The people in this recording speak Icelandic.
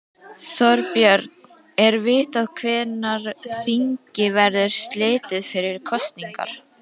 Þorbjörn, er vitað hvenær þingi verður slitið fyrir kosningar?